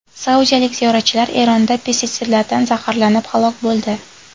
Saudiyalik ziyoratchilar Eronda pestitsidlardan zaharlanib halok bo‘ldi.